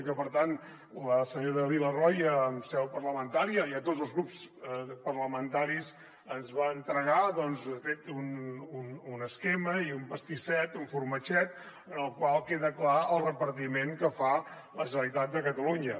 i per tant la senyora villarroya en seu parlamentària i a tots els grups parlamentaris ens va entregar de fet un esquema i un pastisset un formatget en el qual queda clar el repartiment que fa la generalitat de catalunya